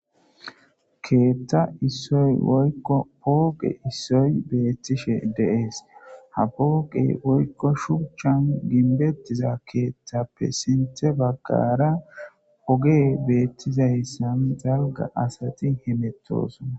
keetta isoypooqe issoy beettishe deees ha pooqe woykko shucchan ginbettiza keeththappe sinte baggara oge beettizayssan zalga asati he mettosona